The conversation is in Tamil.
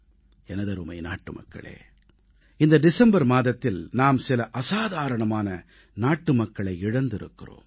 எனதருமை நாட்டுமக்களே இந்த டிசம்பர் மாதத்தில் நாம் சில அசாதாரணமான நாட்டுமக்களை இழந்திருக்கிறோம்